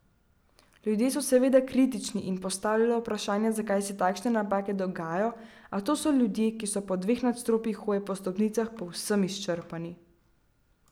Ljudje so seveda kritični in postavljajo vprašanja zakaj se takšne napake dogajajo, a to so ljudje, ki so po dveh nadstropjih hoje po stopnicah povsem izčrpani.